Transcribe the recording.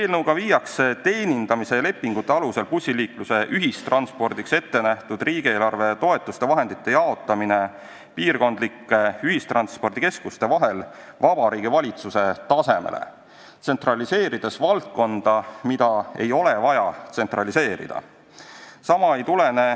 Eelnõuga viiakse avaliku teenindamise lepingute alusel korraldatavaks bussiliikluseks, ühistranspordiks ette nähtud riigieelarvevahendite, toetuste jaotamine piirkondlike ühistranspordikeskuste vahel Vabariigi Valitsuse tasemele, tsentraliseerides valdkonda, mida ei ole vaja tsentraliseerida.